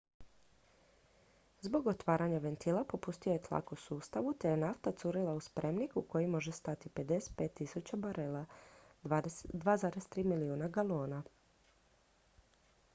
zbog otvaranja ventila popustio je tlak u sustavu te je nafta curila u spremnik u koji može stati 55.000 barela 2,3 milijuna galona